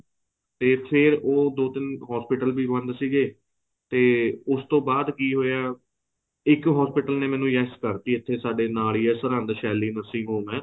ਤੇ ਫ਼ੇਰ ਉਹ ਦੋ ਤਿੰਨ hospital ਵੀ ਬੰਦ ਸੀਗੇ ਤੇ ਉਸ ਤੋਂ ਬਾਅਦ ਕੀ ਹੋਇਆ ਇੱਕ hospital ਨੇ ਮੈਨੂੰ yes ਕਰਤੀ ਇੱਥੇ ਸਾਡੇ ਨਾਲ ਹੀ ਏ ਸਰਹਿੰਦ ਸੈਲੀ nursing home ਹੈ